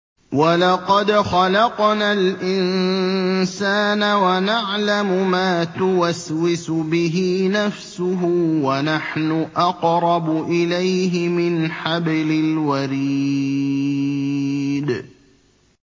وَلَقَدْ خَلَقْنَا الْإِنسَانَ وَنَعْلَمُ مَا تُوَسْوِسُ بِهِ نَفْسُهُ ۖ وَنَحْنُ أَقْرَبُ إِلَيْهِ مِنْ حَبْلِ الْوَرِيدِ